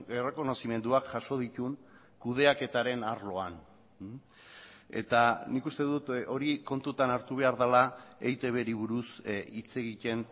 errekonozimenduak jaso dituen kudeaketaren arloan eta nik uste dut hori kontutan hartu behar dela eitbri buruz hitz egiten